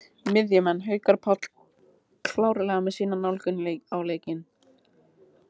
Miðjumenn: Haukur Páll klárlega með sína nálgun á leikinn.